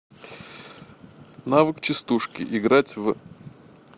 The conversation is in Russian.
навык частушки играть в